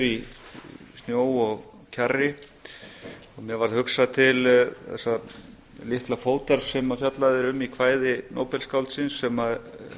í snjó og kjarri og mér varð hugsað til þessa litla fótar sem fjallað er um í kvæði nóbelsskáldsins sem